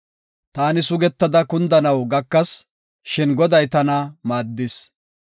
Taani sugetada kundanaw gakas; shin Goday tana maaddis.